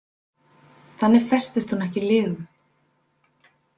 Þannig festist hún ekki í lygum.